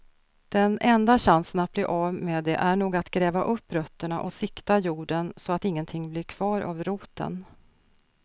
Den enda chansen att bli av med det är nog att gräva upp rötterna och sikta jorden så att ingenting blir kvar av roten.